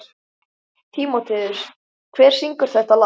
Tímoteus, hver syngur þetta lag?